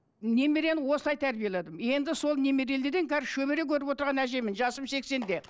немерені осылай тәрбиеледім енді сол немерелерден қазір шөбере көріп отырған әжемін жасым сексенде